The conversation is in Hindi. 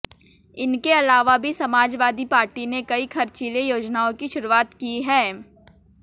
इनके अलावा भी समाजवादी पार्टी ने कई खर्चीली योजनाओं की शुरुआत की है